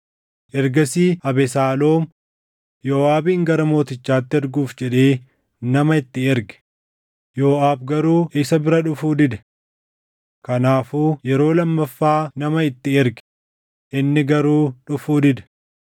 Ergasii Abesaaloom Yooʼaabin gara mootichaatti erguuf jedhee nama itti erge; Yooʼaab garuu isa bira dhufuu dide. Kanaafuu yeroo lammaffaa nama itti erge; inni garuu dhufuu dide.